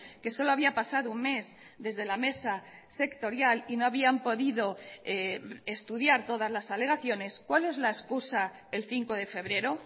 que solo había pasado un mes desde la mesa sectorial y no habían podido estudiar todas las alegaciones cuál es la excusa el cinco de febrero